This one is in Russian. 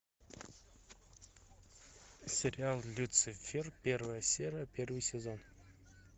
сериал люцифер первая серия первый сезон